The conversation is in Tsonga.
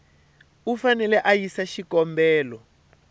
u fanele a yisa xikombelo